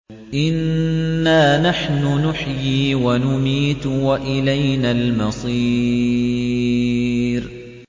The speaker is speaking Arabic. إِنَّا نَحْنُ نُحْيِي وَنُمِيتُ وَإِلَيْنَا الْمَصِيرُ